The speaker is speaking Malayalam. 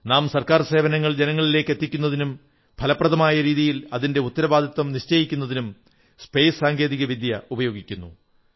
നാം ഗവൺമെന്റ് സേവനങ്ങൾ ജനങ്ങളിലെത്തിക്കുന്നതിനും ഫലപ്രദമായ രീതിയിൽ അതിന്റെ ഉത്തരവാദിത്വം നിശ്ചയിക്കുന്നതിനും ബഹിരാകാശ സാങ്കേതിക വിദ്യ ഉപയോഗിക്കുന്നു